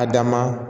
A dan ma